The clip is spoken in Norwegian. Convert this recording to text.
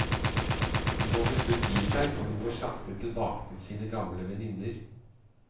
Hun må til slutt gi seg og hun går sakte tilbake til sine gamle venninner.